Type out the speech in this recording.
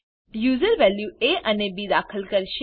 user value A અને B દાખલ કરશે